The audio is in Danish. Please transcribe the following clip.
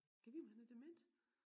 Gad vide om han er dement